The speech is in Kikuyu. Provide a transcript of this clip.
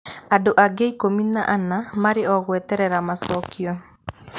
Andũ angĩ 14 marĩ o gweterera macokio.